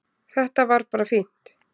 Þetta var bara fínt